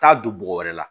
Taa don bɔgɔ wɛrɛ la